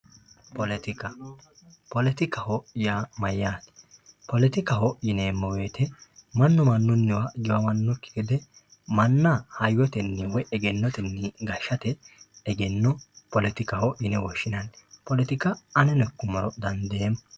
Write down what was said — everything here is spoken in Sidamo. poletika poletikaho yaa mayyate yinummoro mannu mannunniwa giwamannokki gede manna hayyotenni egennotenni gashshate egenno poletikaho yinanni poletika aneno ikkummoro dandeemmo